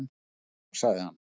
"""Bjór, sagði hann."""